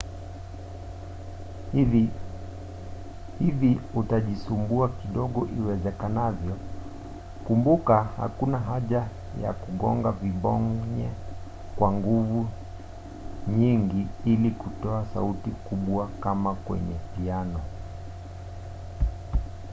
hivi utajisumbua kidogo iwezekanavyo. kumbuka hakuna haja ya kugonga vibonye kwa nguvu nyingi ili kutoa sauti kubwakama kwenye piano